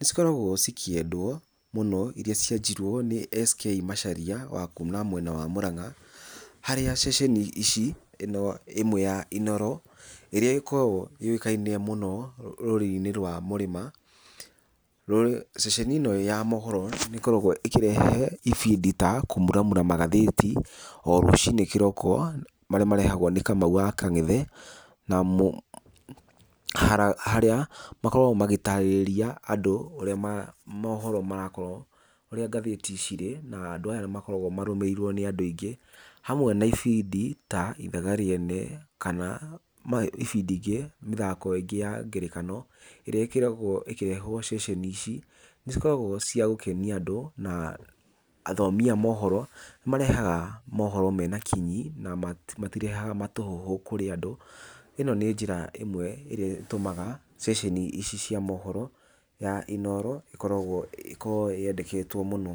nĩ cikoragwo cikĩendwo mũno, iria cianjirio nĩ S K Macharia wa kuuma mwena wa Mũrang'a, harĩa ceceni ici, ĩno ĩmwe ya INOORO ĩrĩa ĩkoragwo yũĩkaine mũno rũrĩrĩ-inĩ rwa mũrĩma. Ceceni ĩno ya maũhoro nĩ ĩkoragwo ĩkĩrehe ibindi ta kũmuramura magathĩti o rũcinĩ kĩroko, marĩa marehagwo nĩ Kamau wa Kang'ethe na harĩa makoragwo magĩtaarĩrĩria andũ ũrĩa maũhoro marakorwo, ũrĩa gathĩti cirĩ, na andũ aya makoragwo marũmĩrĩirwo nĩ andũ aingĩ. Hamwe na ibindi ta ithaga rĩene, kana ibindi ingĩ, mĩthako ĩngĩ ya ngerekano ĩrĩa ĩkoragwo ĩkĩrehwo ceceni ici, nĩ cikoragwo cia gũkenia andũ. Na athomi a maũhoro, marehaga maũhoro mena kinyi na matirehaga matũhũhũ kũrĩ andũ. ĩno nĩ njĩra ĩmwe ĩrĩa ĩtũmaga ceceni ici cia maũhoro ya INOORO ĩkoragwo ĩkorwo yendeketwo mũno.